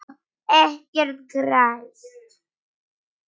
Ekkert gerist.